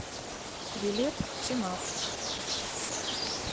билет сенат